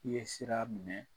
I ye sira minɛ